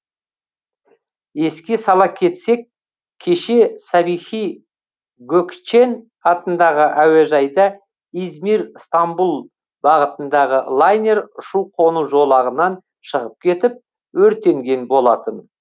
еске сала кетсек кеше сабихи гөкчен атындағы әуежайда измир стамбұл бағытындағы лайнер ұшу қону жолағынан шығып кетіп өртенген болатын